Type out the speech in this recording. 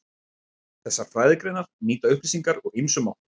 Þessar fræðigreinar nýta upplýsingar úr ýmsum áttum.